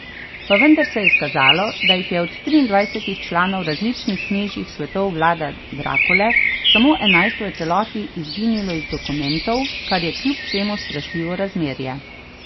Pa vendar se je izkazalo, da jih je od triindvajsetih članov različnih knežjih svetov Vlada Drakule samo enajst v celoti izginilo iz dokumentov, kar je kljub vsemu strašljivo razmerje.